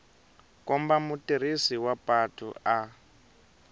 komba mutirhisi wa patu a